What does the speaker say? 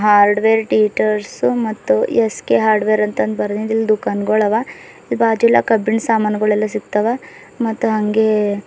hardware ಟಿಟರ್ಸ್ ಮತ್ತು SK hardware ಅಂತ ಬರದಿಂದ ಇಲ್ಲಿ ದುಃಖಾನ ಗೋಳ್ ಆವಾ ಇಲ್ಲಿ ಬಾಜು ಎಲ್ಲಾ ಕಬ್ಬಿಣ ಸಾಮಾನಗೋಳ ಎಲ್ಲಾ ಸಿಗ್ತಾವ ಮತ್ತ ಹಂಗೆ --